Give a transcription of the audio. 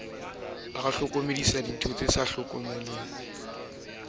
re ha ho ne ho